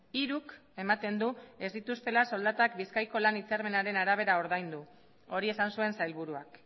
hiruk ematen du ez dituztela soldatak bizkaiko lan hitzarmenaren arabera ordaindu hori esan zuen sailburuak